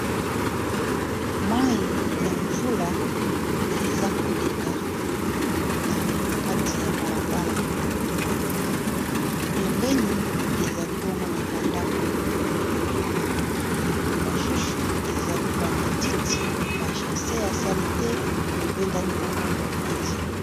mai ya mvula eza koleka na kati ya balabala pembeni ezali bongo na bandako mosusu ezali bamatiti bachasse ya sali te ebendani bongo mopanzi